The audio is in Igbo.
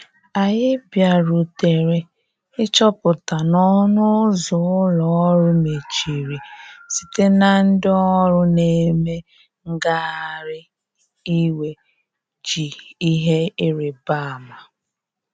Anyi bia rutere ị chọpụta na ọnụ ụzọ ụlọ orụ mechịrị site na ndi ọrụ na eme ngahari iwè ji ihe ịrịbe ama.